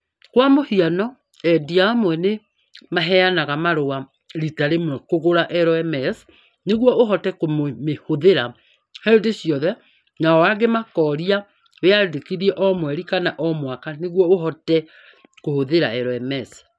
Kwa mũhiano, endia amwe nĩ maheanaga marũa rita rĩmwe kũgũra LMS nĩguo ũhote kũmĩhũthĩra hĩndĩ ciothe, nao angĩ makoria wĩyandĩkithie o mweri kana o mwaka nĩguo ũhote kũhũthĩra LMS.